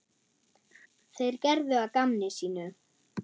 Þeir gerðu að gamni sínu.